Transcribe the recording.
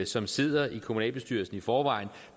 som sidder i kommunalbestyrelsen i forvejen